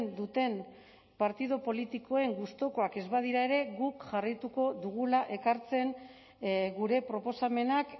duten partidu politikoen gustukoak ez badira ere guk jarraituko dugula ekartzen gure proposamenak